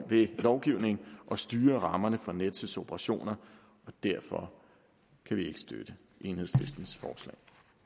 ved lovgivning at styre rammerne for nets operationer og derfor kan vi ikke støtte enhedslistens forslag